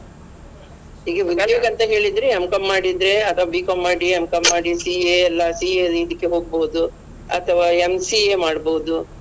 ಈಗ ಉದ್ಯೋಗ ಅಂತ ಹೇಳಿದ್ರೆ M.Com ಮಾಡಿದ್ರೆ ಅತ್ವ B.Com ಮಾಡಿ M.Com ಮಾಡಿ CA ಎಲ್ಲ CA ದ್ ಇದಿಕ್ಕೆ ಹೊಗ್ಬೋದು ಅಥವಾ MCA ಮಾಡ್ಬೋದು.